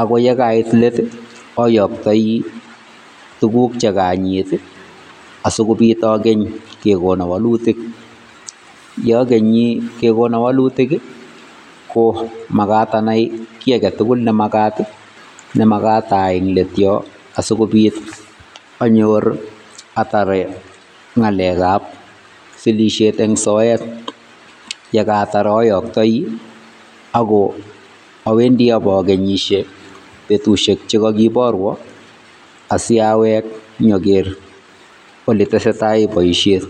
ako yekait let ayaktoi tuguk chekanyit asikopit akeny kekono walutik. Ye akenyi kekono walutik komakat anai kiiy agetugul nemakat ayai eng let yo asikopit anyor atepe ngalekab sirisiet eng soet, ye katar ayoktoi ako awendi ipokenyisie betusiek che kakiporwa asiyawek nyokeer ole tesetai boisiet.